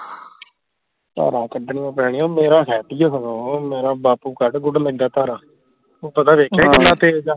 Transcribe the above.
ਧਾਰਾਂ ਕੱਢਣੀਆਂ ਪੈਣੀਆਂ ਮੇਰਾ ਹੈ ਸਗੋਂ ਮੇਰਾ ਬਾਪੂ ਕੱਢ ਕੁੱਢ ਲੈਂਦੇ ਧਾਰਾਂ ਉਹ ਪਤਾ ਵੇਖਿਆ ਕਿੰਨਾ ਹਮ ਤੇਜ ਆ